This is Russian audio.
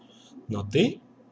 но ты